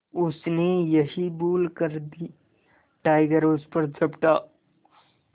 उसने यही भूल कर दी टाइगर उस पर झपटा